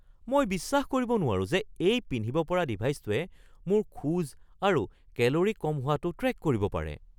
মই বিশ্বাস কৰিব নোৱাৰো যে এই পিন্ধিব পৰা ডিভাইছটোৱে মোৰ খোজ আৰু কেলৰি কম হোৱাটো ট্ৰেক কৰিব পাৰে।